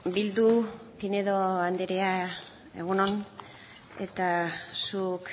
bildu pinedo anderea egun on eta zuk